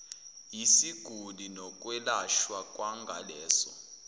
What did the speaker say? yesiguli nokwelashwa kwangaleso